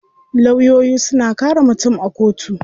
Lawyoyi suna kare mutum a kotu.